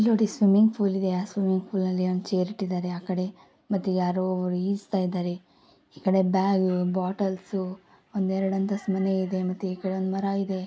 ಇಲ್ನೋಡಿ swimming pool ಇದೆ. ಆ swimming pool ಅಲ್ಲಿ ಒಂದು ಚೇರ್ ಇಟ್ಟಿದಾರೆ ಆಕಡೆ ಮತ್ತೆ ಯಾರೋ ಒಬ್ರು ಈಜತಾ ಇದಾರೆ. ಈ ಕಡೆ ಬ್ಯಾಗ್ ಬೊಟ್ಟ್ಲ್ಸ್ ಒಂದು ಎರಡು ಅಂತಸ್ತ್ ಮನೆ ಇದೆ. ಮತ್ತೆ ಈಕಡೆ ಒಂದು ಮರ ಇದೆ.